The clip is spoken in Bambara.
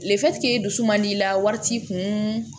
i dusu man di la wari t'i kun